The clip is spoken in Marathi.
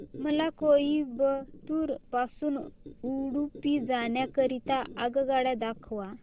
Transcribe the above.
मला कोइंबतूर पासून उडुपी जाण्या करीता आगगाड्या दाखवा